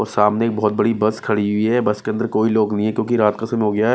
और सामने बहुत बड़ी बस खड़ी हुई है बस के अंदर कोई लोग नहीं है क्योंकि रात का समय हो गया है।